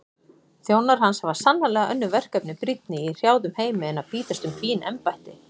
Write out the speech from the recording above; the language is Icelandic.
Þjónar hans hafa sannarlega önnur verkefni brýnni í hrjáðum heimi en bítast um fín embætti.